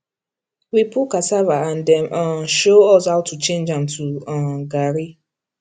we pull cassava and dem um show us how to change am to um garri